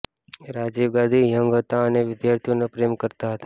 Rajiv Gandhi young હતા અને વિદ્યાર્થીઓને પ્રેમ કરતા હતા